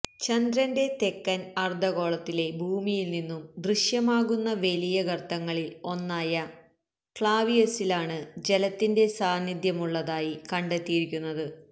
ചന്ദ്രന്റെ തെക്കൻ അർധ ഗോളത്തിലെ ഭൂമിയിൽനിന്നും ദൃശ്യമാകുന്ന വലിയ ഗർത്തങ്ങളിൽ ഒന്നായ ക്ലാവിയസിലാണ് ജലത്തിന്റെ സാനിധ്യമുള്ളതായി കണ്ടെത്തിയിരിയ്ക്കുന്നത്